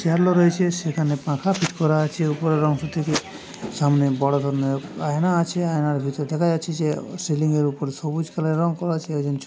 Chair লো রয়েছে সেখানে পাখা ফিট করা আছে উপরের অংশ থেকে সামনে বড় ধরনের আয়না আছে আয়নার ভিতর দেখা যাচ্ছে যে সিলিং -এর উপরে সবুজ কালার -এর রং করা আছে। একজন --